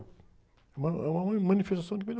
É uma, é uma, manifestação que vem do